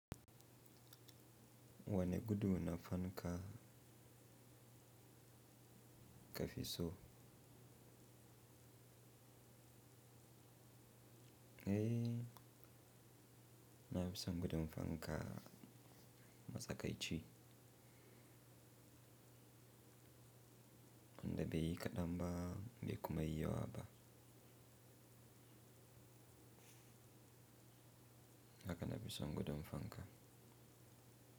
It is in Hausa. Wane gudu na fanka ka fi so? Eh, na fi son gudu fanka matsakaici wanda bai yi kaɗan ba bai kuma yi yawa ba. Haka na fi son gudu fanka.